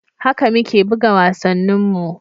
Haka muke buga wasanninmu.